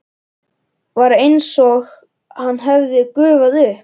Var einsog hann hefði gufað upp.